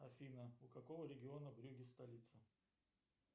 афина у какого региона брюгге столица